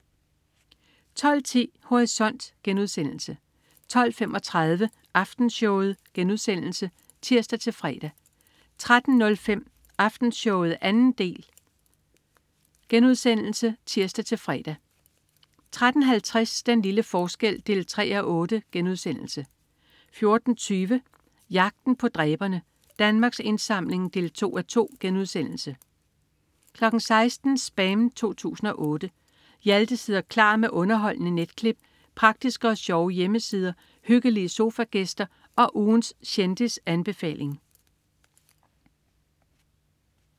12.10 Horisont* 12.35 Aftenshowet* (tirs-fre) 13.05 Aftenshowet 2. del* (tirs-fre) 13.50 Den lille forskel 3:8* 14.20 Jagten på dræberne. Danmarks Indsamling 2:2* 16.00 SPAM 2008. Hjalte sidder klar med underholdende netklip, praktiske og sjove hjemmesider, hyggelige sofagæster og ugens kendisanbefaling